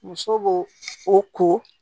Muso b'o o ko